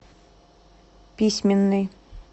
письменный